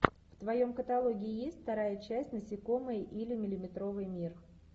в твоем каталоге есть вторая часть насекомые или миллиметровый мир